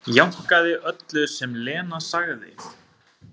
Jánkaði öllu sem Lena sagði.